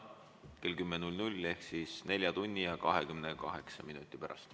Kohtume täna kell 10 ehk 4 tunni ja 28 minuti pärast.